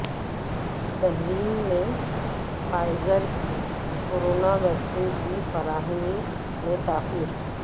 بحرین میں فائزر کی corona vaccine کی فراہمی میں تاخیر